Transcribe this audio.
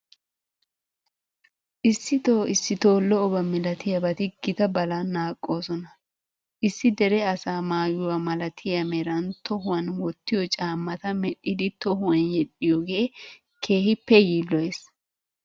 Issitoo issitoo lo"oba malatiyabati gita balan naaqoosona. Issi dere asaa maayuwa malatiya meran tohuwan wottiyo caammata medhdhidi tohuwan yedhdhiyigee keehippe yiilloyees.